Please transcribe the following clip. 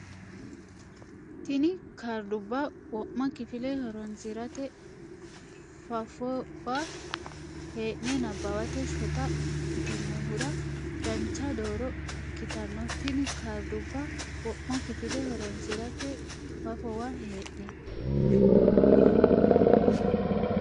Tini kaardubba wo ma kifile horonsi rate fafowa hee ne nabbawate shota ikkitinohura dancha dooro ikkitanno Tini kaardubba wo ma kifile horonsi rate fafowa hee ne.